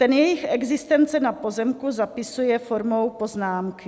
Ten jejich existence na pozemku zapisuje formou poznámky.